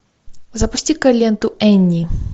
запусти ка ленту энни